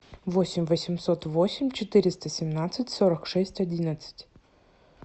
восемь восемьсот восемь четыреста семнадцать сорок шесть одиннадцать